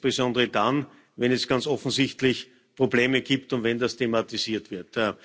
Insbesondere dann, wenn es ganz offensichtlich Probleme gibt und wenn das thematisiert wird.